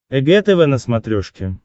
эг тв на смотрешке